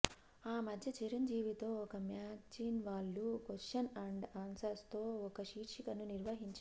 ఆ మధ్య చిరంజీవితో ఒక మ్యాగ్జిన్ వాళ్లు కొశ్చన్ అండ్ ఆన్సర్స్తో ఒక శీర్షికను నిర్వహించారు